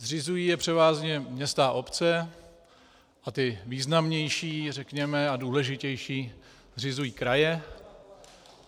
Zřizují je převážně města a obce a ty významnější, řekněme, a důležitější zřizují kraje.